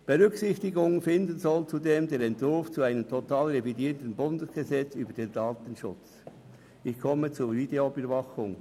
Zudem soll der Entwurf zu einem totalrevidierten Bundesgesetz über den Datenschutz (DSG) Berücksichtigung finden.